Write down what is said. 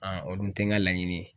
o dun tɛ ŋa laɲini ye.